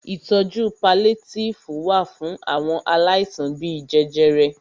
Ìtọjú paliétífù wà fún àwọn àìsàn bíi jẹjẹrẹ.